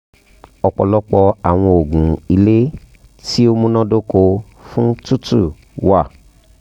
ọpọlọpọ awọn oogun ile ti o munadoko fun tutu wa